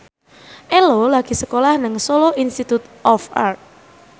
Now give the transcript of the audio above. Ello lagi sekolah nang Solo Institute of Art